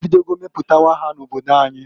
E bidogo meputawa ha na-obodo anyi.